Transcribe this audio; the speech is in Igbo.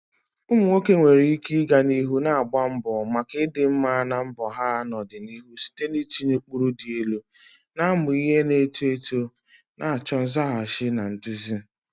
Ụmụ nwoke nwere ike ịga n'ihu na-agba mbọ maka ịdị mma na mbọ ha n'ọdịniihu site n'itinye ụkpụrụ dị elu, na-amụ ihe na-eto eto, na-achọ nzaghachi na nduzi.